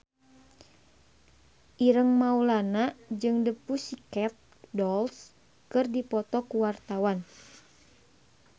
Ireng Maulana jeung The Pussycat Dolls keur dipoto ku wartawan